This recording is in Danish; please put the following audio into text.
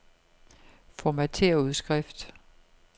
Formatér udskrift.